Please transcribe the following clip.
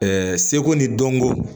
seko ni dɔnko